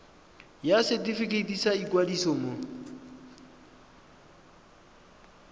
ya setefikeiti sa ikwadiso ya